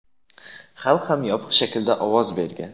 Xalq ham yopiq shaklda ovoz bergan.